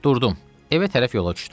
Durdum, evə tərəf yola düşdüm.